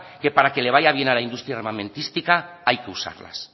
que para que le vaya bien a la industria armamentística hay que usarlas